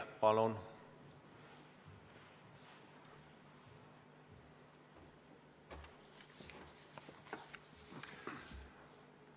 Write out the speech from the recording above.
Palun!